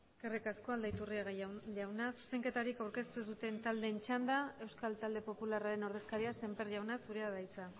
eskerrik asko aldaiturriaga jauna zuzenketarik aurkeztu ez duten taldeen txanda euskal talde popularraren ordezkaria semper jauna zurea da hitza